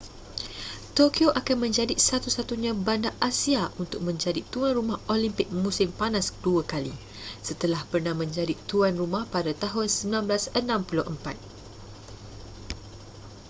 tokyo akan menjadi satu-satunya bandar asia untuk menjadi tuan rumah olimpik musim panas dua kali setelah pernah menjadi tuan rumah pada tahun 1964